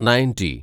ninety